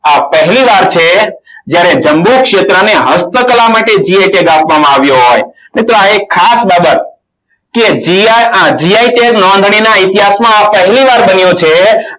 આ પહેલીવાર છે. જ્યારે જમ્મુ ક્ષેત્રને હસ્તકલા માટે gi tag આપવામાં આવ્યો હોય. તો આ એક ખાસ બાબત કે gr આ gi tag નોંધણી ના ઇતિહાસમાં આ પહેલીવાર બન્યું છે.